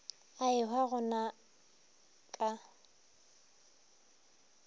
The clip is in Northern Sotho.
a ehwa go na ka